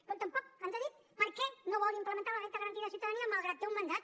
com tampoc ens ha dit per què no vol implementar la renda garantida de ciutadania malgrat que té un mandat